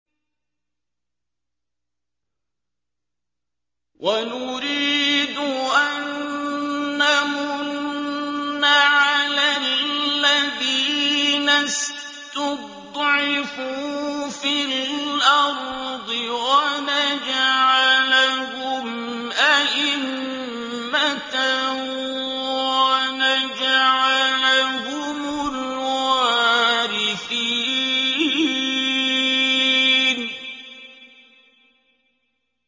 وَنُرِيدُ أَن نَّمُنَّ عَلَى الَّذِينَ اسْتُضْعِفُوا فِي الْأَرْضِ وَنَجْعَلَهُمْ أَئِمَّةً وَنَجْعَلَهُمُ الْوَارِثِينَ